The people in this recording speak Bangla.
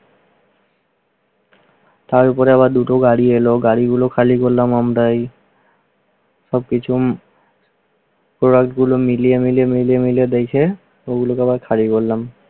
তার উপর আবার দুটো গাড়ি এলো। গাড়িগুলো খালি করলাম আমরাই। সবকিছু product গুলো মিলিয়ে মিলিয়ে মিলিয়ে মিলিয়ে দেখে ওগুলোকে আবার খালি করলাম।